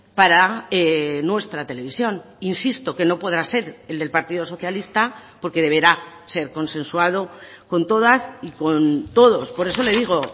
para nuestra televisión insisto que no podrá ser el del partido socialista porque deberá ser consensuado con todas y con todos por eso le digo